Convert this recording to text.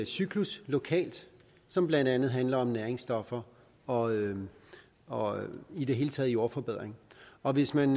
cyklus lokalt som blandt andet handler om næringsstoffer og og i det hele taget jordforbedring og hvis man